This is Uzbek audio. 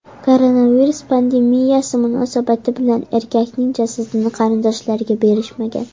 Koronavirus pandemiyasi munosabati bilan erkakning jasadini qarindoshlariga berishmagan.